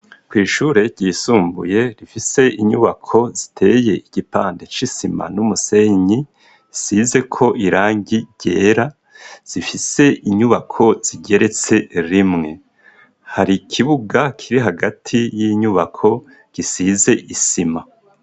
Kw'ishure ryisumbuye, rifise inyubako, ziteye igipande c'isima, n'umusenyi, isizeko irangi ryera; zifise inyubako, zigeretse rimwe; hari ikibuga, kiri hagati y'inyubako, gisize isima.